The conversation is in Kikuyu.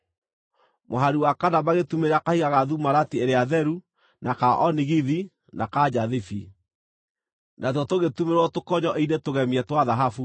mũhari wa kana magĩtumĩrĩra kahiga ga thumarati ĩrĩa theru, na ka onigithi, na ka njathibi. Natuo tũgĩtumĩrĩrwo tũkonyo-inĩ tũgemie twa thahabu.